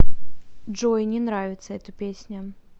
джой не нравится эта песня